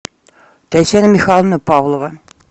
татьяна михайловна павлова